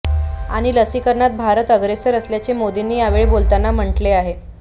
आणि लसीकरणात भारत अग्रेसर असल्याचे मोदींनी यावेळी बोलताना म्हटले आहे